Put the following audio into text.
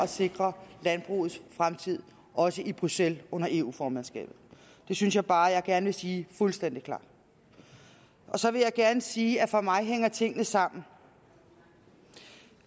sikre landbrugets fremtid også i bruxelles under eu formandskabet det synes jeg bare jeg gerne vil sige fuldstændig klart og så vil jeg gerne sige at for mig hænger tingene sammen